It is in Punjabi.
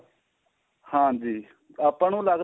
ਹਾਂਜੀ ਆਪਾਂ ਨੂੰ ਲੱਗਦਾ